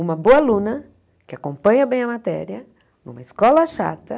Uma boa aluna, que acompanha bem a matéria, numa escola chata.